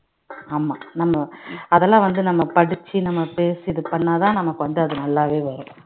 ஆமா நம்ம அதெல்லாம் வந்து நம்ம படிச்சி நாம பேசிட்டு பண்ணா தான் நமக்கு வந்து அது நல்லாவே வரும்